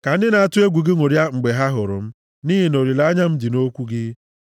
Ka ndị na-atụ egwu gị ṅụrịa mgbe ha hụrụ m, nʼihi na olileanya m dị nʼokwu gị.